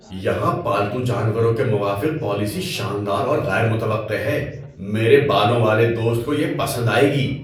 یہاں پالتو جانوروں کے موافق پالیسی شاندار اور غیر متوقع ہے – میرے بالوں والے دوست کو یہ پسند آئے گی!